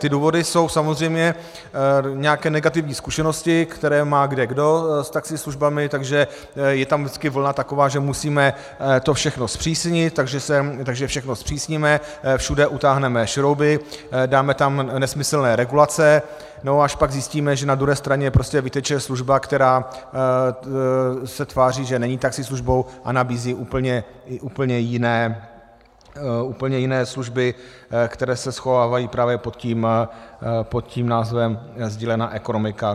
Ty důvody jsou samozřejmě nějaké negativní zkušenosti, které má kdekdo s taxislužbami, takže je tam vždycky vlna taková, že musíme to všechno zpřísnit, takže všechno zpřísníme, všude utáhneme šrouby, dáme tam nesmyslné regulace, no a až pak zjistíme, že na druhé straně prostě vyteče služba, která se tváří, že není taxislužbou, a nabízí úplně jiné služby, které se schovávají právě pod tím názvem sdílená ekonomika.